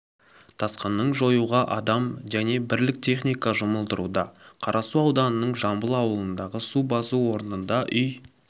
тасқынын жоюға адам және бірлік техника жұмылдырылуда қарасу ауданының жамбыл ауылындағы су басу орнында үй